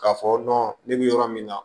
K'a fɔ ne bɛ yɔrɔ min na